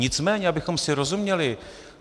Nicméně abychom si rozuměli.